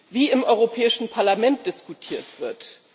wie im Europäischen Parlament diskutiert wird.